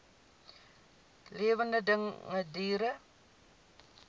lewende dinge diere